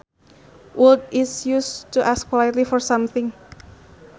Would is used to ask politely for something